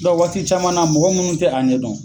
waati caman na mɔgɔ minnu tɛ a ɲɛ dɔn